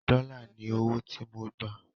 dòla ní ọwọ tí mọ gbà.